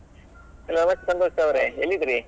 ನಮಸ್ತೆ ಸಂತೋಷ್ ಅವ್ರೆ ಎಲ್ಲಿದ್ರಿ .